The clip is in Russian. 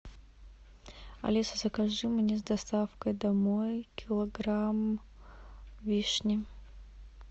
алиса закажи мне с доставкой домой килограмм вишни